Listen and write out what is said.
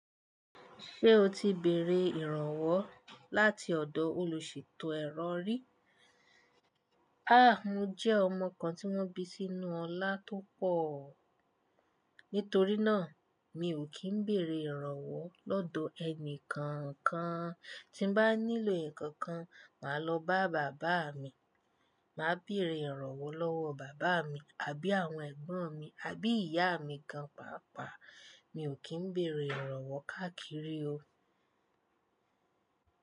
Ṣé o ti bèrè ìrànwọ́ láti ọ̀dọ̀ olùṣètò ẹ̀rọ rí? À, mo jẹ́ ọmọ kan tí wọ́n bí sínú ọlá tó pọ̀. Nítorí náà, mi ò kí ń bèrè ìrànwọ́ lọ́dọ̀ ẹni kankan. Tí mo bá nílò ǹkan kan, màá lọ bá bàbá mi. Màá bèrè ìrànwọ́ lọ́wọ́ bàbá mi àbí àwọn ẹ̀gbọ́n mi àbí ìyá mi gan pàápàá. Mi ò kí ń bèrè ìrànwọ́ káàkiri o.